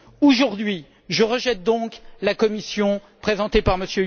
Aujourd'hui, je rejette donc la Commission présentée par M.